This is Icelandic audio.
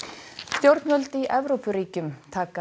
stjórnvöld í Evrópuríkjum taka